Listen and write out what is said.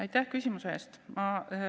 Aitäh küsimuse eest!